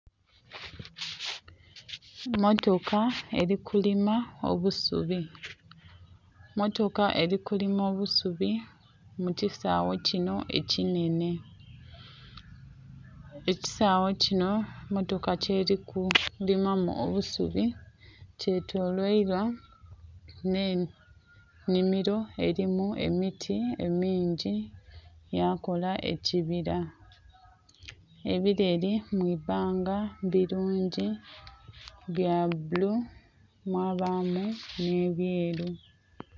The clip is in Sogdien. Emmotoka elikulima obusubi, mmotoka elikulima obusubi mukisaghe kinho ekinhenhe, ekisaghe kinho mmotoka kyeliku limamu obusubi kyetolweilwa nhe nhimiro erimu emiti mingi yakola ekibila, ebileli mwibanga bulungi byabulu mwabamu nhe byelu.